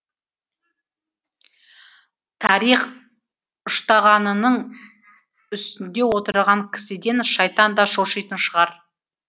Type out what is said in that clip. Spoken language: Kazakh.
тарих үштағанының үстінде отырған кісіден шайтан да шошитын шығар